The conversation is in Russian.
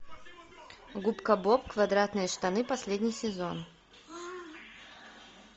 губка боб квадратные штаны последний сезон